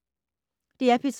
DR P3